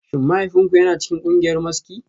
Shin mahaifinku yana cikin kungiyar maski?